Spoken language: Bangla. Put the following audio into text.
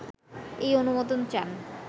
এই অনুমোদন চান